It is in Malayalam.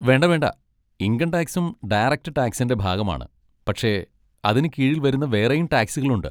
വേണ്ട വേണ്ട, ഇൻകം ടാക്സും ഡയറക്റ്റ് ടാക്സിൻ്റെ ഭാഗമാണ്, പക്ഷെ അതിന് കീഴിൽ വരുന്ന വേറെയും ടാക്സുകളുണ്ട്.